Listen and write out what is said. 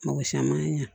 Mɔgɔ si a man ɲa